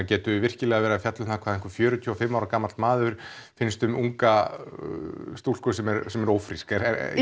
getum við virkilega verið að fjalla um hvað fjörutíu og fimm ára gamall maður finnst um unga stúlku sem er sem er ófrísk